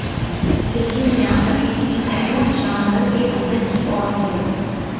लेकिन ध्यान रखें कि पैरों निशान घर के अंदर की ओर हों